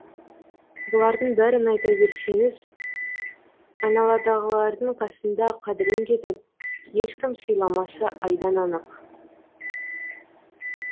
бұлардың бәрін айта берсеңіз айналадағылардың қасында қадірін кетіп ешкім сыйламасы айдан анық